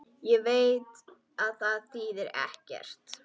Veit að það þýðir ekkert.